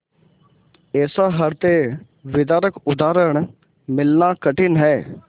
ऐसा हृदयविदारक उदाहरण मिलना कठिन है